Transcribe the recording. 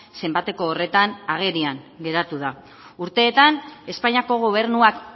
zenbateko horretan agerian geratu da urteetan espainiako gobernuak